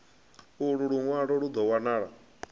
ulu lunwalo lu do wanala